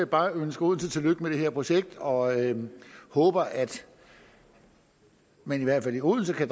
bare ønske odense tillykke med det her projekt og håber at man i hvert fald i odense kan